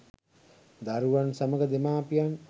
දරුවන් සමග දෙමාපියන්